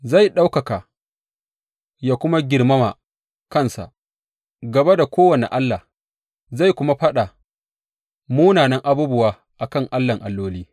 Zai ɗaukaka yă kuma girmama kansa gaba da kowane allah zai kuma faɗa munanan abubuwa a kan Allahn alloli.